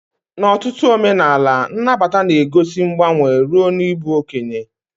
N'ọtụtụ omenala, nnabata na-egosi mgbanwe ruo n'ịbụ okenye.